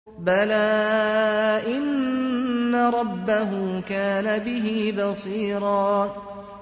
بَلَىٰ إِنَّ رَبَّهُ كَانَ بِهِ بَصِيرًا